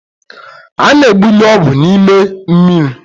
A na-egbunye ọgwụ n’ime mmiri